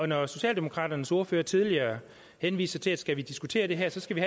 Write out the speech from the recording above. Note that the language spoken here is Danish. når socialdemokraternes ordfører tidligere henviser til at skal vi diskutere det her skal vi